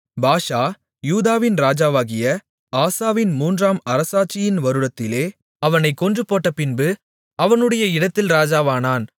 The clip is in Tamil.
பாஷா யூதாவின் ராஜாவாகிய ஆசாவின் மூன்றாம் அரசாட்சியின் வருடத்திலே அவனைக் கொன்றுபோட்டபின்பு அவனுடைய இடத்தில் ராஜாவானான்